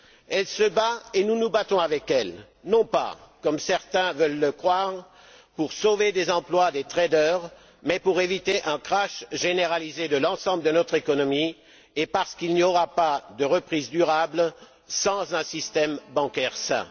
Elle se bat et nous nous battons avec elle non pas, comme certains veulent le croire, pour sauver les emplois des traders mais pour éviter un crash généralisé de l'ensemble de notre économie et parce qu'il n'y aura pas de reprise durable sans un système bancaire sain.